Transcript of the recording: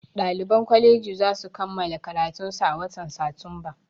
Ɗaliban kwaleji zasu kammala karatunsu a watan satumba